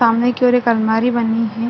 सामने की ओऱ एक अलमारि बनी है।